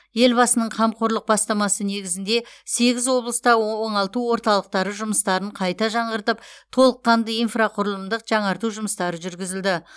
елбасының қамқорлық бастамасы негізінде сегіз облыста оңалту орталықтары жұмыстарын қайта жаңғыртып толыққанды инфрақұрылымдық жаңарту жұмыстары жүргізілді